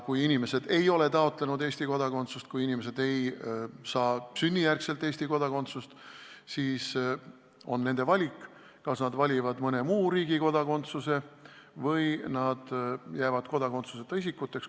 Kui inimesed ei ole taotlenud Eesti kodakondsust ja kui inimesed ei saa sünnijärgset Eesti kodakondsust, siis on nende valik, kas nad valivad mõne muu riigi kodakondsuse või jäävad kodakondsuseta isikuteks.